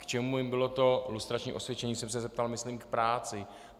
K čemu jim bylo to lustrační osvědčení, jsem se zeptal, myslím v práci.